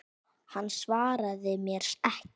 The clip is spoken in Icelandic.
Hann svaraði mér ekki.